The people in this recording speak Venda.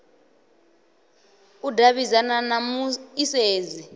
u davhidzana na mu isedzi